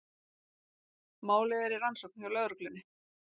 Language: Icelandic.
Málið er í rannsókn hjá lögreglunni